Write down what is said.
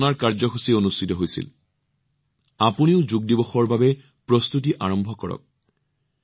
মই বিচাৰো যে আপোনালোকে এতিয়াৰ পৰাই যোগ দিৱসৰ বাবে প্ৰস্তুতি আৰম্ভ কৰক